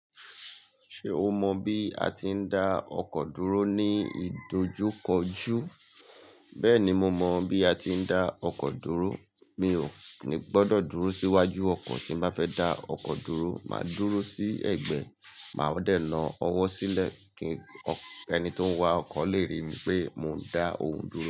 Ṣé o mọ bí a ti ń dá ọkọ̀ dúró ní ìdojúkọjú? Bẹ́ẹ̀ni mo mọ bí a ti ń dá ọkọ̀ dúró. Mi ò ní gbọdọ̀ dúró síwájú ọkọ̀ tí n ba fẹ́ dá ọkọ̀ dúró. Màá dúró sí ẹ̀gbẹ́, màá dẹ̀ na ọwọ́ sílẹ̀ kí ẹni tó ń wa ọkọ̀ lè rí pé mò ń dá òun dúró.